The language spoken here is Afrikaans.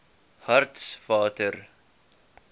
hartswater